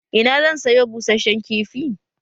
Ina zan sayo busheshen kifi?